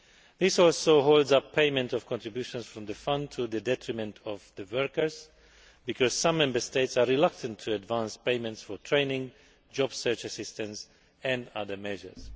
This also holds up payment of contributions from the Fund, to the detriment of the workers, because some Member States are reluctant to advance payments for training, job search assistance and other measures.